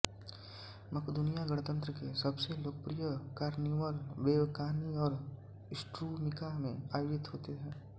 मकदूनिया गणतंत्र के सबसे लोकप्रिय कार्निवल वेवकानी और स्ट्रुमिका में आयोजित होते हैं